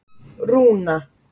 Rúna